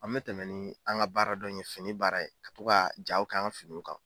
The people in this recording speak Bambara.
An mɛ tɛmɛ ni an ka baara dɔn in ye fini baara in ka to ka jaaw k'an ka finiw kan.